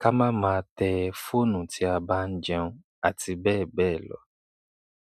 ká máa máa tẹ fọ́ọ̀nù tí a bá ń jẹun, àti bẹ́ẹ̀ bẹ́ẹ̀ lọ.